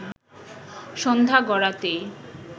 সন্ধ্যা গড়াতেই